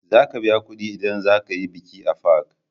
Za ka biya kudi in za ka yi biki a fak